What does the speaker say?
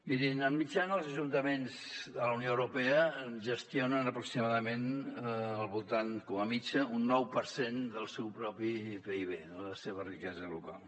mirin de mitjana els ajuntaments de la unió europea gestionen aproximadament al voltant com a mitjana d’un nou per cent del seu propi pib de la seva riquesa local